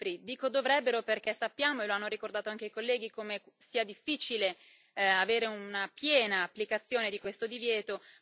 Dico dovrebbero perché sappiamo e lo hanno ricordato anche i colleghi come sia difficile avere una piena applicazione di questo divieto.